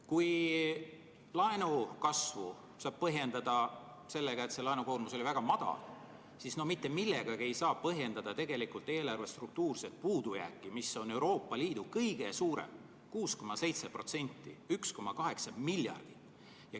Kui laenukasvu saab põhjendada sellega, et laenukoormus oli väga madal, siis mitte millegagi ei saa põhjendada tegelikult eelarve struktuurset puudujääki, mis on Euroopa Liidu kõige suurem – 6,7%, 1,8 miljardit.